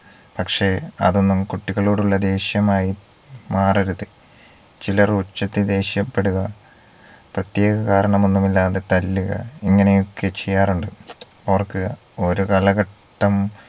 പക്ഷെ അതൊന്നും കുട്ടികളോടുള്ള ദേഷ്യമായി മാറരുത് ചിലർ ഉച്ചത്തിൽ ദേഷ്യപെടുക പ്രേത്യേക കാരണമൊന്നുമില്ലാതെ തല്ലുക ഇങ്ങനെയൊക്കെ ചെയ്യാറുണ്ട് ഓർക്കുക ഓരോ കാലഘട്ടം